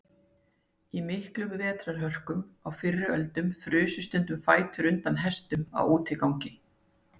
Í miklum vetrarhörkum á fyrri öldum frusu stundum fætur undan hestum á útigangi.